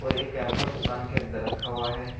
एक कैंपर दुकान के अंदर रखा हुआ है।